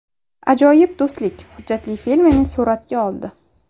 Ajoyib do‘stlik” hujjatli filmini suratga oldi.